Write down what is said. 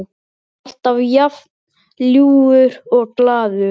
Alltaf jafn ljúfur og glaður.